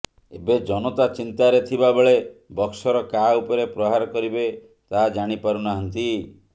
ଏବେ ଜନତା ଚିନ୍ତାରେ ଥିବା ବେଳେ ବକ୍ସର କାହା ଉପରେ ପ୍ରହାର କରିବେ ତାହା ଜାଣି ପାରୁ ନାହାନ୍ତି